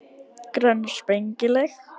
Grönn og spengileg.